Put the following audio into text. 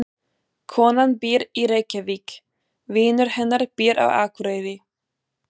Konan býr í Reykjavík. Vinur hennar býr á Akureyri.